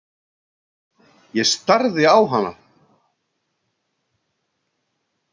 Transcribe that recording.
Ég starði á hana.